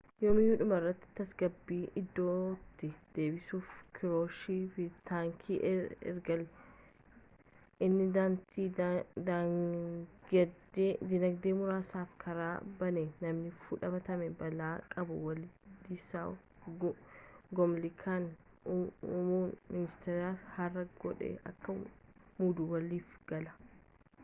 yoomallee dhumarratti tasgabbii iddootti deebisuuf kirusheev taankii ergellee inni dantaa dinagdee muraasaaf karaa banee namni fudhatamaa bal'aa qabu wilaadislaaw gomulkaan muummee ministeeraa haaraa godhee akka muudu waliif-gale